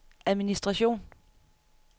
administration